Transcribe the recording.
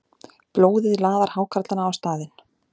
Blóðið laðar hákarlana á staðinn.